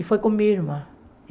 E foi com minha irmã.